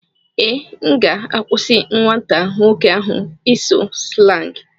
Ee, M ga-akwụsị nwata nwoke ahụ ịsụ slangị.